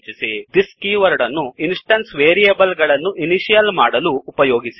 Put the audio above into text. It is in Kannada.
thisದಿಸ್ ಕೀವರ್ಡ್ ಅನ್ನು ಇನ್ಸ್ಟೆನ್ಸ್ ವೇರಿಯೇಬಲ್ ಗಳನ್ನು ಇನಿಶಿಯಲ್ ಮಾಡಲು ಉಪಯೋಗಿಸಿ